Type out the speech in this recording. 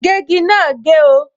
Ìgégi máa gé o